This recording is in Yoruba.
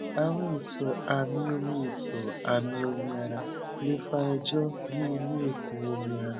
àrùn ètò amí omi ètò amí omi ara lè fa èjò ní inú ikùn omi ara